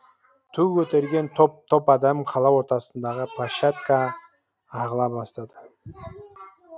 ту көтерген топ топ адам қала ортасындағы площадка ағыла бастады